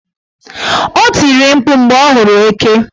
O tiri mkpu mgbe ọ hụrụ eke.